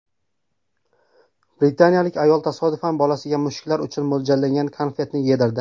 Britaniyalik ayol tasodifan bolasiga mushuklar uchun mo‘ljallangan konfetni yedirdi.